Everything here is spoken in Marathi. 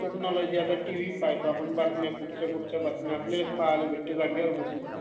टेक्नॉलॉजी पाह्यना टीव्ही पाहतो आपणं....कुठल्या कुठल्या बातम्या पाहायला भेटते आपल्या जागेवर बसून